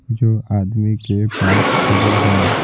जो आदमी के पास खड़ी है।